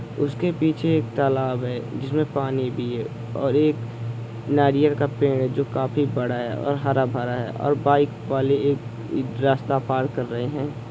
उसके पीछे एक तालाब है जिसमे पानी भी है और एक नारियल का पेड़ है जो काफी बड़ा है और हरा भरा है और बाइक वाले एक एक रास्ता पार कर रहे है।